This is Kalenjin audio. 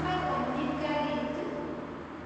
Kagonyi karit ii?